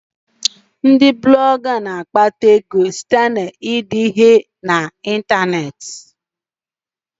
Ndị Blọga na-akpata ego site na ide ihe na ịntanetị